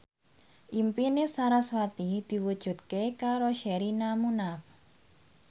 impine sarasvati diwujudke karo Sherina Munaf